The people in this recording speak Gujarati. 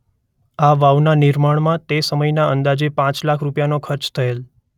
આ વાવનાં નિર્માણમાં તે સમયના અંદાજે પાંચ લાખ રૂપિયાનોં ખર્ચ થયેલ.